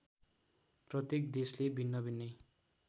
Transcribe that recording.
प्रत्येक देशले भिन्नाभिन्नै